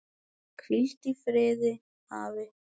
Hvíldu í friði, afi.